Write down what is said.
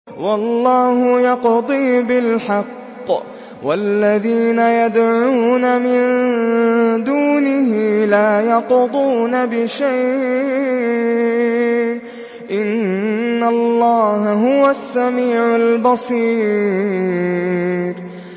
وَاللَّهُ يَقْضِي بِالْحَقِّ ۖ وَالَّذِينَ يَدْعُونَ مِن دُونِهِ لَا يَقْضُونَ بِشَيْءٍ ۗ إِنَّ اللَّهَ هُوَ السَّمِيعُ الْبَصِيرُ